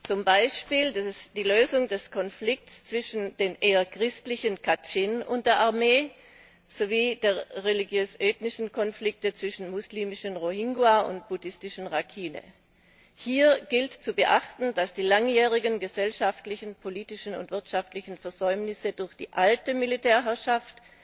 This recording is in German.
Zum Beispiel die Lösung des Konflikts zwischen den eher christlichen Kachin und der Armee sowie der religiös ethnischen Konflikte zwischen muslimischen Rohingya und buddhistischen Rakhine. Hier gilt zu beachten, dass die langjährigen gesellschaftlichen, politischen und wirtschaftlichen Versäumnisse durch die alte Militärherrschaft